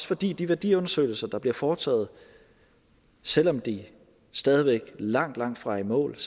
fordi de værdiundersøgelser der bliver foretaget selv om vi stadig væk langtfra er i mål